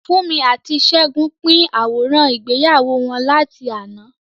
Funmi àti Segun pín àwòrán ìgbéyàwó wọn láti àná.